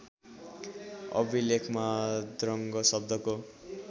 अभिलेखमा द्रङ्ग शब्दको